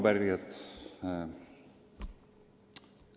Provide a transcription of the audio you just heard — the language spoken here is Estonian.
Head arupärijad!